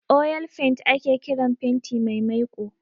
'Oil paint'' ake kiran fenti mai maiko